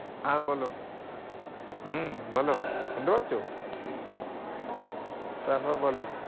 আহ বলো? হম বলো? শুনতে পাচ্ছ? তারপর বলো?